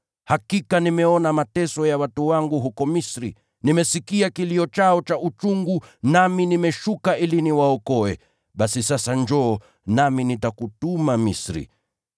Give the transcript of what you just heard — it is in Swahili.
Hakika nimeona mateso ya watu wangu huko Misri. Nimesikia kilio chao cha uchungu, nami nimeshuka ili niwaokoe. Basi sasa njoo, nami nitakutuma Misri.’